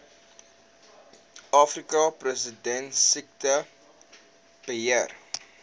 afrika perdesiekte beheer